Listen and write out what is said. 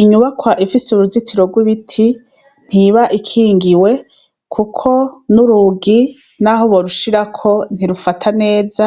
Inyubakwa ifise uruzitiro rw'ibiti ntiba ikingiwe kuko n'urugi naho borushirako ntirufata neza